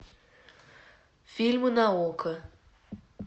фильмы на окко